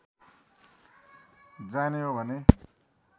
जाने हो भने